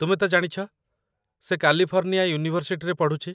ତୁମେ ତ ଜାଣିଛ, ସେ କାଲିଫର୍ଣ୍ଣିଆ ୟୁନିଭର୍ସିଟିରେ ପଢ଼ୁଛି